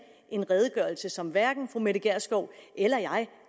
en redegørelse som hverken fru mette gjerskov eller jeg